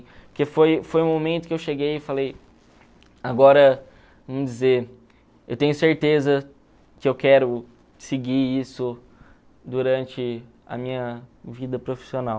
Porque foi foi o momento que eu cheguei e falei, agora, vamos dizer, eu tenho certeza que eu quero seguir isso durante a minha vida profissional.